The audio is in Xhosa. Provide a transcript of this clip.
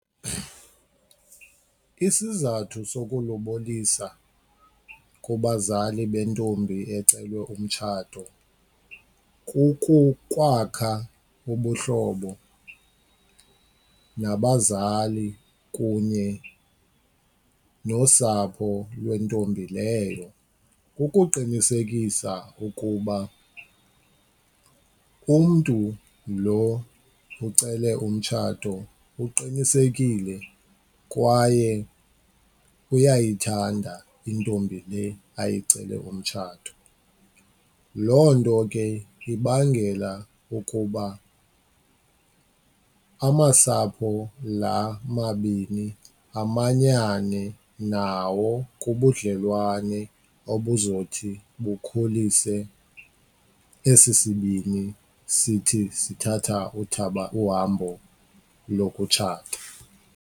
Isizathu sokulobolisa kubazali bentombi ecelwa umtshato kukukwakha ubuhlobo nabazali kunye nosapho lwentombi leyo, kukuqinisekisa ukuba umntu lo ucele umtshato uqinisekile kwaye uyayithanda intombi le ayicele umtshato. Loo nto ke ibangela ukuba amasapho la mabini amanyane nawo kubudlelwane obuzothi bukhulise esi sibini sithi sithatha uhambo lokutshata.